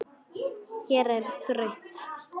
Hér er þröngt.